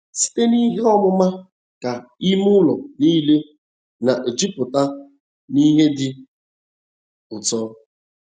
‘ Site n’ihe ọmụma ka ime ụlọ nile na - ejupụta n’ihe dị ụtọ